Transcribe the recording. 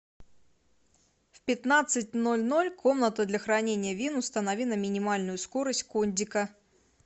в пятнадцать ноль ноль комната для хранения вин установи на минимальную скорость кондика